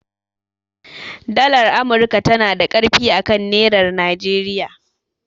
Dalar amurka tanada ƙarfi akan nerar Nigeria